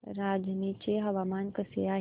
रांझणी चे हवामान कसे आहे